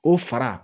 O fara